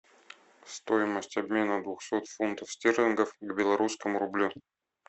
стоимость обмена двухсот фунтов стерлингов к белорусскому рублю